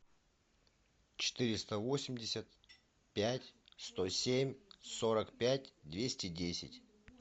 четыреста восемьдесят пять сто семь сорок пять двести десять